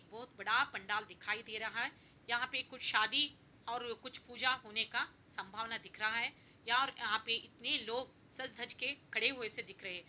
बहोत बड़ा पंडाल दिखाई दे रहा है यहाँ पे कुछ शादी और कुछ पूजा होने का संभावना दिख रहा है यार यहाँ पे इतने लोग सज-धज के खड़े हुए से दिख रहे हैं।